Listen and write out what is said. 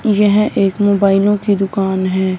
यह एक मोबाइलों की दुकान है।